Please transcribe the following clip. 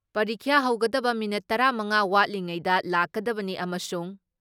ꯄꯔꯤꯈ꯭ꯌꯥ ꯍꯧꯒꯗꯕ ꯃꯤꯅꯤꯠ ꯇꯔꯥ ꯃꯉꯥ ꯋꯥꯠꯂꯤꯉꯩꯗ ꯂꯥꯛꯀꯗꯕꯅꯤ ꯑꯃꯁꯨꯡ